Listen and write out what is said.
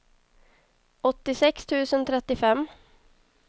åttiosex tusen trettiofem